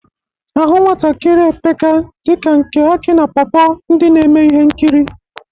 Ahụ nwatakiri epeka dị ka nke akị na pọ pọ, ndị na-eme ihe nkiri.